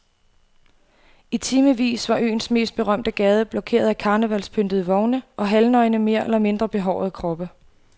I timevis var øens mest berømte gade blokeret af karnevalspyntede vogne og halvnøgne mere eller mindre behårede kroppe.